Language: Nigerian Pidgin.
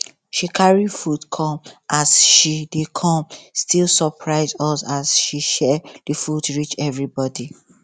she carry food come as she dey come still surpise us as she share the food reach everybody